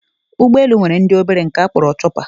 Ụgbọelu nwere ndị obere nke a kpọrọ chọpa